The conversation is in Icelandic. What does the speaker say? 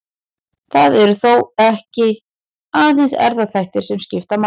Það eru þó ekki aðeins erfðaþættir sem skipta máli.